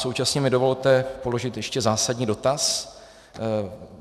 Současně mi dovolte položit ještě zásadní dotaz.